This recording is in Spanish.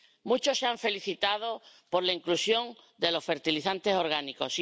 Muchos se han felicitado por la inclusión de los fertilizantes orgánicos